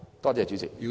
多謝主席。